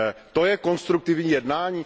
To je konstruktivní jednání?